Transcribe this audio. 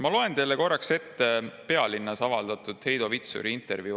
Ma loen teile ette Pealinnas avaldatud intervjuu Heido Vitsuriga.